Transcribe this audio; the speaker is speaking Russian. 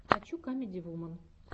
хочу камеди вуман